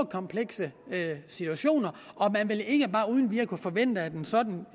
komplekse situationer og man vil ikke bare uden videre kunne forvente at en sådan